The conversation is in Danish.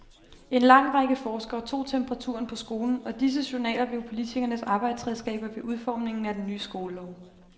En lang række forskere tog temperaturen på skolen, og disse journaler blev politikernes arbejdsredskaber ved udformningen af den nye skolelov.